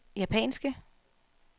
japanske